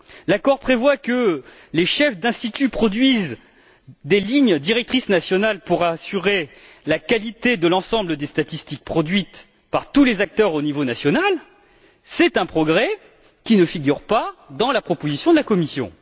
L'accord prévoit par exemple que les chefs d'instituts produisent des lignes directrices nationales pour assurer la qualité de l'ensemble des statistiques produites par tous les acteurs au niveau national, progrès qui ne figure pas dans la proposition de la Commission.